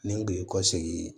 Ni n kun ye kɔ segin